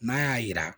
N'a y'a yira